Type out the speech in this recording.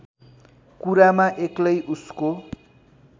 कुरामा एक्लै उसको